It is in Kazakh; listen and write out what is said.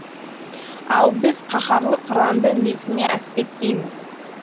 ал біз қаһарлы қыранды несіне әспеттейміз